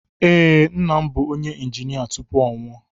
Ee, nna m bu onye injinia tupu ọ nwụọ